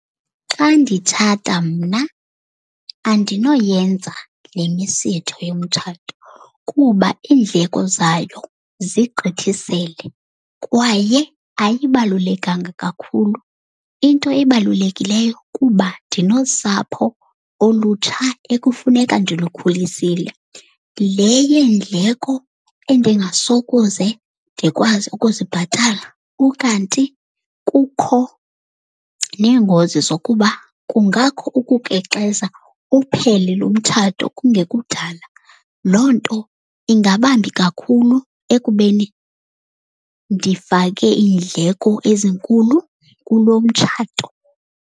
Xa nditshata mna andinoyenza le misitho yomtshato kuba iindleko zayo zigqithisele kwaye ayibalulekanga kakhulu. Into ebalulekileyo kuba ndinosapho olutsha ekufuneka ndilukhulisile. Le yeendleko endingasokuze ndikwazi ukuzibhatala, ukanti kukho neengozi zokuba kungakho ukukrexeza uphele loo mtshato kungekudala. Loo nto ingabambi kakhulu ekubeni ndifake iindleko ezinkulu kulo mtshato.